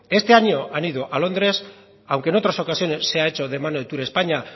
este año han ido a londres aunque en otras ocasiones se ha hecho de mano de turespaña